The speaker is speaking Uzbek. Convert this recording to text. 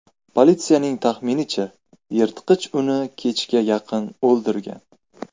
Politsiyaning taxminicha, yirtqich uni kechga yaqin o‘ldirgan.